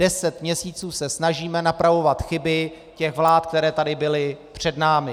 Deset měsíců se snažíme napravovat chyby těch vlád, které tady byly před námi.